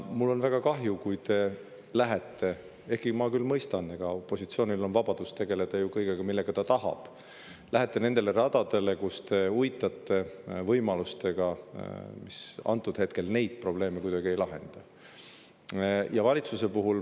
Mul on väga kahju, kui te lähete – ehkki ma küll mõistan, et opositsioonil on vabadus tegeleda kõigega, millega ta tahab tegelda – uitama nendele radadele, kus antud hetkel võimalusi neid probleeme kuidagi lahendada.